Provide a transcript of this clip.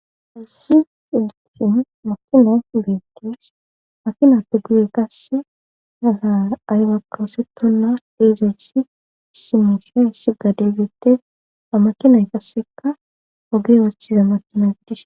Issi makino beetis makina tuguye kasse agaa aygakka wosetonna eezesesi simisha issi gade gete a makinoy kasseka oge woocthiza makinoy dishe